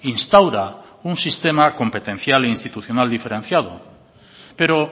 instaura un sistema competencial diferenciado pero